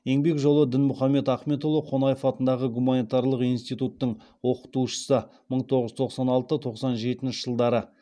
еңбек жолы дінмұхаммед ахметұлы қонаев атындағы гуманитарлық институттың оқытушысы